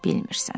Bilmirsən.